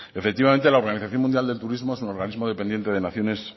efectivamente la organización mundial del turismo es un organismo dependiente de naciones